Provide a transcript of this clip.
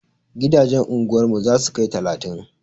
Gidajen anguwar mu za su kai talatin.